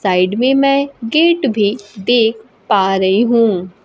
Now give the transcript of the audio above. Side में मैं gate भी देख पा रही हूं।